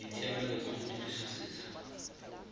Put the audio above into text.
ditshiamelo tsa go dirisa setsha